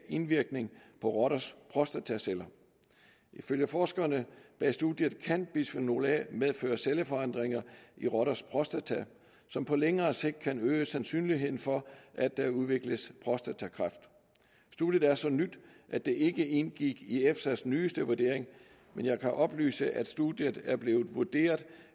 indvirkning på rotters prostataceller ifølge forskerne bag studiet kan bisfenol a medføre celleforandringer i rotters prostata som på længere sigt kan øge sandsynligheden for at der udvikles prostatakræft studiet er så nyt at det ikke indgik i efsas nyeste vurdering men jeg kan oplyse at studiet er blevet vurderet